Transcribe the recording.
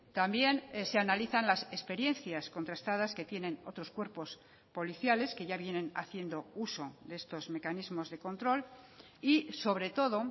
también se analizan las experiencias contrastadas que tienen otros cuerpos policiales que ya vienen haciendo uso de estos mecanismos de control y sobre todo